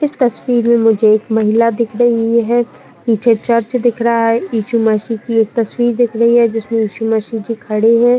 कुछ तस्वीरे में जो एक महिला दिख रही है। नीचे चर्च दिख रहा है। इशू मशीह की ये तस्वीर दिख रही है। जिसमे इशू मशीह जी खड़े हैं।